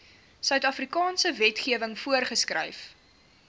suidafrikaanse wetgewing voorgeskryf